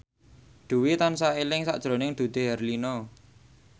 Dwi tansah eling sakjroning Dude Herlino